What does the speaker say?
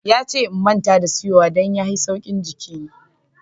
Ya ce n'manta da tsiyowa. Dan ya hi tsaukin jiki.